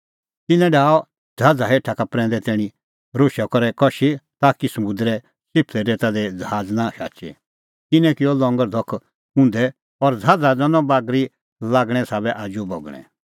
तिन्नैं डाहअ ज़हाज़ हेठा का प्रैंदै तैणीं राशै करै कशी ताकि समुंदरे च़िफलै रेता दी ज़हाज़ नां शाचे तिन्नैं किअ लंगर धख उंधै और ज़हाज़ा दैनअ बागरी लागणें साबै आजू बगणैं